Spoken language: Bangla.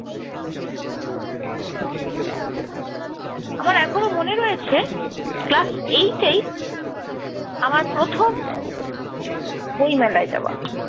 আমার এখনো মনে রয়েছে class eight এই আমার প্রথম বইমেলায় যাওয়া।